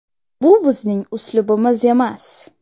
Bu bizning uslubimiz emas.